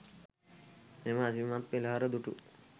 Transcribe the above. මෙම අසිරිමත් පෙළහර දුටු